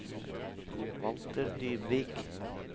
Walter Dybvik